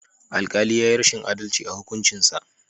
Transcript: Alkali yayi rashin adalci a hukuncinsa.